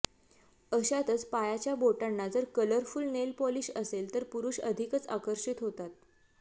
अशातच पायाच्या बोटांना जर कलरफुल नेल पॉलिश असेल तर पुरुष अधिकच आकर्षित होतात